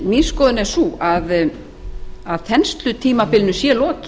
mín skoðun er sú að þenslutímabilinu sé lokið